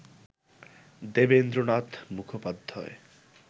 Devendra Nath Mukhopadhyay